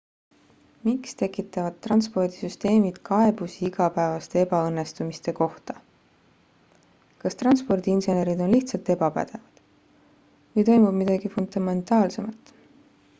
miks tekitavad transpordisüsteemid kaebusi igapäevaste ebaõnnestumiste kohta kas transpordiinsenerid on lihtsalt ebapädevad või toimub midagi fundamentaalsemat